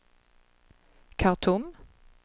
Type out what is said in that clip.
Khartoum